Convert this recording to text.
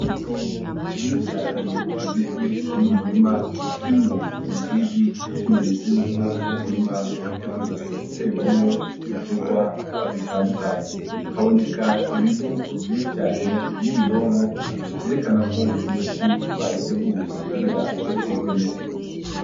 Itongo rinini cane rigizwe n'umurima urimwo ubusizi bw'ikimenyetso yuko uwo murima witeguriye guterwamwo ibiterwa bitandukanye, haboneka ibivu vyinshi cane n'ibononko vyerekana ko iyo si bayiteguye kugira izoterwemwo.